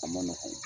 A ma nɔgɔn